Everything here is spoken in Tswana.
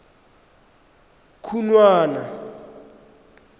khunwana